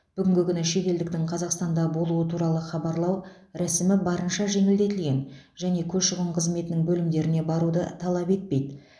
бүгінгі күні шетелдіктің қазақстанда болуы туралы хабарлау рәсімі барынша жеңілдетілген және көші қон қызметінің бөлімдеріне баруды талап етпейді